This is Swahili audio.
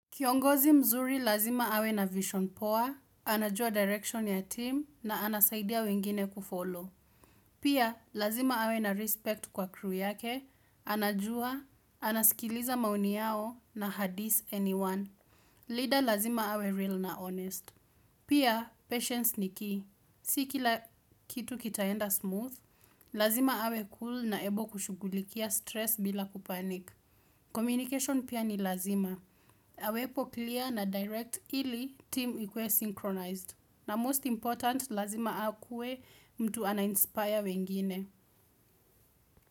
Kiongozi mzuri lazima awe na vision poa, anajua direction ya team na anasaidia wengine kufollow. Pia, lazima awe na respect kwa crew yake, anajua, anaskiliza maoni yao na hadis anyone. Leader lazima awe real na honest. Pia, patience ni key. Siki la kitu kitaenda smooth, lazima awe cool na ebo kushugulikia stress bila kupanik. Communication pia ni lazima. Awepo clear na direct ili team ikue synchronized. Na most important lazima akuwe mtu anainspire wengine.